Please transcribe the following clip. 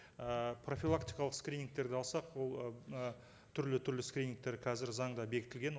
ыыы профилактикалық скринингтерді алсақ ол ы түрлі түрлі скринингтер қазір заңда бекітілген